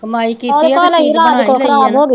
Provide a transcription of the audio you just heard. ਕਮਾਈ ਕੀਤੀ ਆ ਤੇ ਚੀਜ਼ ਬਣਾ ਈ ਲਈ ਆ ਨਾ